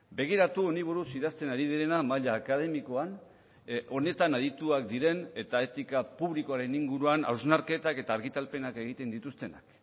begiratu honi buruz idazten ari direna maila akademikoan honetan adituak diren eta etika publikoaren inguruan hausnarketak eta argitalpenak egiten dituztenak